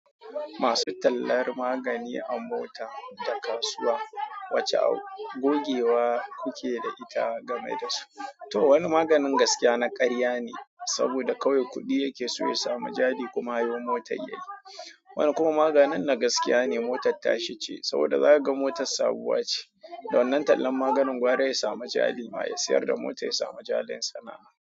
Masu tallar magani an bauta da kasuwa, wacce gogewa kuke da ita game da su? To wani maganin gaskiya na karya ne, saboda kawai kuɗi yake so ya samu jari kuma ya yi mota yayi. Wani kuma maganin na gaskiya ne motar tashi ce saboda zaka ga motar sabuwa ce. Da wannan tallan maganin gwara ya samu jari ma ya siyar da mota ya samu jalin sana'a.